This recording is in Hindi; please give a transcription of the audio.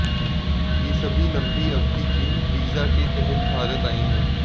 ये सभी लंबी अवधि के वीजा के तहत भारत आए हैं